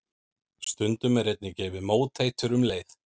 Stundum er einnig gefið móteitur um leið.